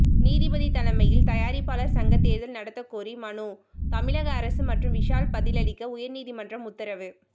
நீதிபதி தலைமையில் தயாரிப்பாளர் சங்க தேர்தல் நடத்தக்கோரி மனு தமிழக அரசு மற்றும் விஷால் பதிலளிக்க உயர்நீதிமன்றம் உத்தரவு